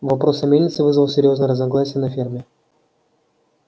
вопрос о мельнице вызвал серьёзные разногласия на ферме